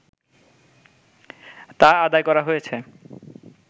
তা আদায় করা হয়েছে